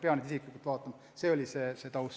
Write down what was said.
Kohtunik ehk ei peaks neid inimesi isiklikult üle vaatama.